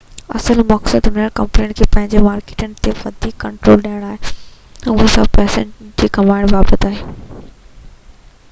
اصل مقصد انهن ڪمپنين کي پنهنجين مارڪيٽن تي وڌيڪ ڪنٽرول ڏيڻ آهي اهو سڀ پئسن کي گهمائڻ بابت آهي